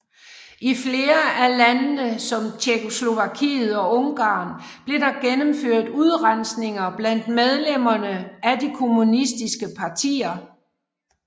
I flere af landene som Tjekkoslovakiet og Ungarn blev der gennemført udrensninger blandt medlemmerne af de kommunistiske partier